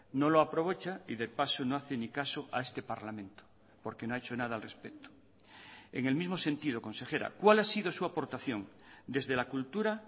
no lo aprovecha y de paso no hace ni caso a este parlamento porque no ha hecho nada al respecto en el mismo sentido consejera cuál ha sido su aportación desde la cultura